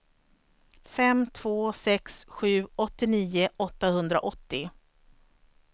fem två sex sju åttionio åttahundraåttio